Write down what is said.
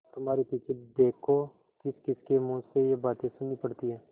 तुम्हारे पीछे देखो किसकिसके मुँह से ये बातें सुननी पड़ती हैं